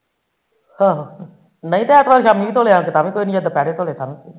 ਆਹੋ ਐਤਵਾਰ ਨਹੀਂ ਐਤਵਾਰੀ ਸ਼ਾਮੀ ਧੋਲੇ ਤਾ ਵੀ ਕੋਈ ਨੀ ਦੁਪਿਹਰੇ ਧੋਲੇ ਤਾ ਵੀ ਕੋਈ ਨੀ